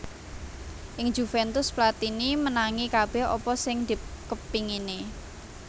Ing Juventus Platini menangi kabèh apa sing dikepingini